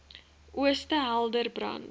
ooste helder brand